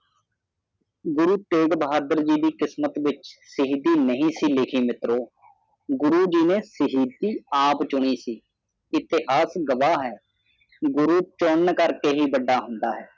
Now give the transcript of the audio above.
ਗੁਰੂ ਤੇਗ ਜੀ ਕਿਸਮਤ ਵਿਚ ਨਹੀਂ ਸੀ ਲਿਖੀ ਮਿਤਰੋ ਗੁਰੂ ਜੀ ਨੇ ਸ਼ਹੀਦੀ ਆਪ ਚੁਣੀ ਸੀ ਇਤਿਹਾਸ ਗ਼ਵਾ ਹੈ ਗੁਰੂ ਚੁਨਣ ਕਾਕੜੇ ਹੀ ਵੱਡਾ ਹੁੰਦਾ ਹੈ